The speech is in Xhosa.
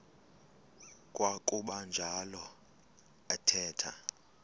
kwakuba njalo athetha